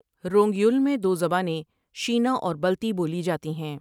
Wrong Yul میں دو زبانیں شینا اور بلتی بولی جاتی ہیں ۔